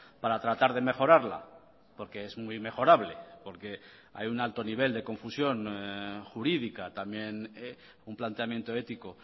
para tratar de mejorarla porque es muy mejorable porque hay un alto nivel de confusión jurídica también un planteamiento ético